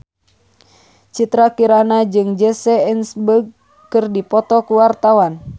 Citra Kirana jeung Jesse Eisenberg keur dipoto ku wartawan